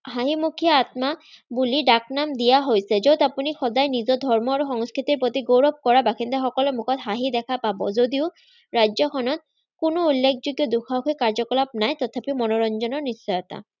হাঁহিমুখিয়া আত্মা বুলি ডাকনাম দিয়া হৈছে, যত আপুনি সদায় নিজৰ ধৰ্ম আৰু সংস্কৃতিৰ প্ৰতি গৌৰৱকৰা বাসিন্দাসকলে মুখত হাঁহি দেখা পাব যদিও ৰাজ্যখনত কোনো উল্লেখযোগ্য দুসাহসিক কাৰ্য্য-কলাপ নাই, তথাপিও মনোৰঞ্জনৰ নিশ্চয়তা